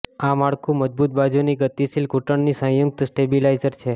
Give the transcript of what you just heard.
આ માળખું મજબૂત બાજુની ગતિશીલ ઘૂંટણની સંયુક્ત સ્ટેબિલાઇઝર છે